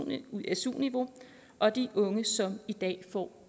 niveau og de unge som i dag får